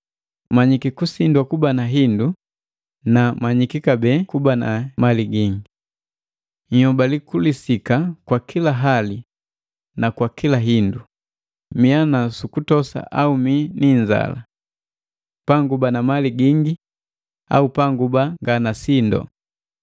Manyiki kusindwa kuba na hindu na jakuba na mali gingi. Nhyobali kulisika kwa kila hali na kwa kila hindu, miya nusukutosa au mii ni inzala: Panguba na mali gingi au panguba nganasindu.